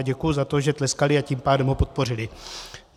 A děkuju za to, že tleskali, a tím pádem ho podpořili.